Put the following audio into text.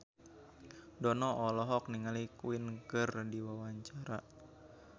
Dono olohok ningali Queen keur diwawancara